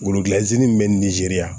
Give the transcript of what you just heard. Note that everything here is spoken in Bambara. Worokilanzi min bɛ nizeriya